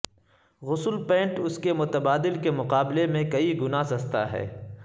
غسل پینٹ اس کے متبادل کے مقابلے میں کئی گنا سستا ہے